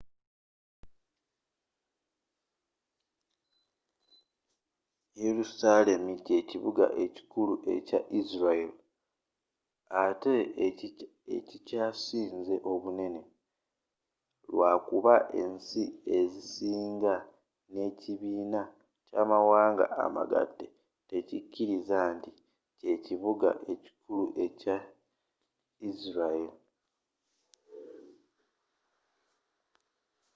yerusalemu ky'ekibuga ekikulu ekya israel atte ekikyasinze obunene lwakuba ensi ezisinga ne ekibiina ky'amawaanga amagatte tezikiriza nti kye ekibuga ekikulu ekya israel